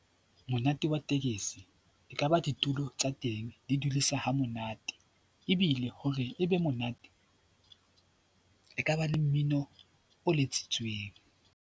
Monate wa tekesi e kaba ditulo tsa teng, di dudisa ha monate ebile hore e be monate e ka ba le mmino o letsitseweng.